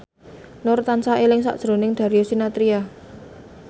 Nur tansah eling sakjroning Darius Sinathrya